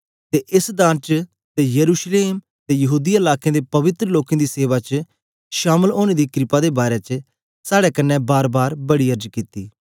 ते एस दान च ते यरूशलेम ते यहूदीया लाकें दे पवित्र लोकें दी सेवा च शामल ओनें गी क्रपा दे बारै च साड़े कन्ने बारबार बड़ी अर्ज कित्ती